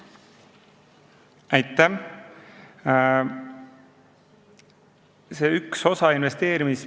Aitäh!